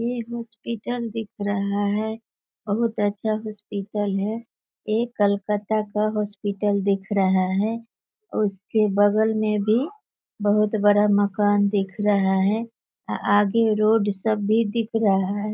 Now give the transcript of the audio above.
ये हॉस्पिटल दिख रहा हैं बहोत अच्छा हॉस्पिटल हैं ये कलकत्ता का हॉस्पिटल दिख रहा हैं और उसके बगल में भी बहोत बड़ा मकान दिख रहा हैं आगे रोड सब भी दिख रहा हैं।